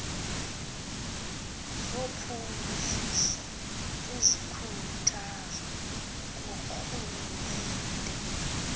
zophuhliso ezikhuthazwa ngurhulumente